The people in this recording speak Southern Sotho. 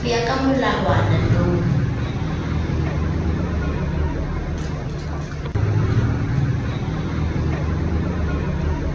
ho ya ka molawana no